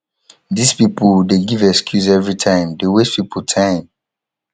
this people dey give excuse everytime dey waste people time